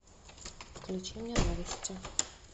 включи мне новости